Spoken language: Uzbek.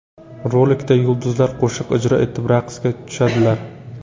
Rolikda yulduzlar qo‘shiq ijro etib, raqsga tushadilar.